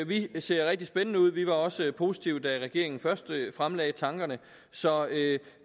vi ser rigtig spændende ud vi var også positive da regeringen først fremlagde tankerne så